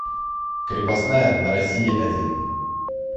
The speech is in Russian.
крепостная на россии один